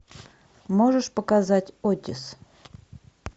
можешь показать отис